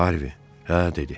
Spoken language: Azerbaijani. Harvi: Hə, dedi.